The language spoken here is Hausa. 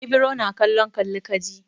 Ibro na kallon kalli ka ji.